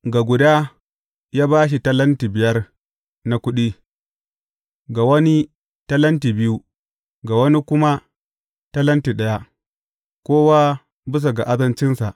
Ga guda, ya ba shi talenti biyar na kuɗi, ga wani talenti biyu, ga wani kuma talenti ɗaya, kowa bisa ga azancinsa.